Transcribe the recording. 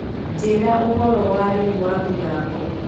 njĩĩra ũhoro wa rĩũ wa mithako